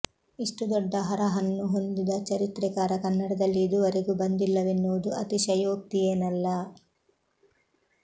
ಇಷ್ಟು ದೊಡ್ಡ ಹರಹನ್ನು ಹೊಂದಿದ ಚರಿತ್ರೆಕಾರ ಕನ್ನಡದಲ್ಲಿ ಇದುವರೆಗೂ ಬಂದಿಲ್ಲವೆನ್ನುವುದು ಅತಿಶಯೋಕ್ತಿಯೇನಲ್ಲ